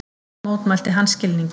Þar mótmælti hann skilningi